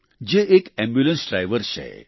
જે એક ambulance driver છે